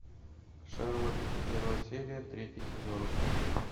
шерлок первая серия третий сезон